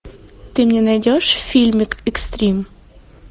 ты мне найдешь фильмик экстрим